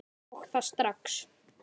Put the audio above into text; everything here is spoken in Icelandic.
Og það strax.